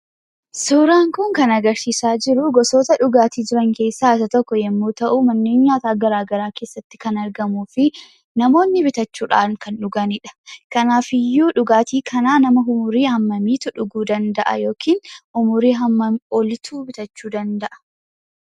Suuraan kun kan agarsiisaa jiruu gosoota dhugaatii jiran keessaa isa tokko yemmuu ta'u manneen nyaataa garagaraa keessatti kan argamuufi namoonni bitachuudhaan kan dhuganidha. Kanaafiyyuu dhugaatii kanaa nama umurii hammamiitu dhuguu danda'a yookiin umuriin hammamii oliitu bitachuu danda'a?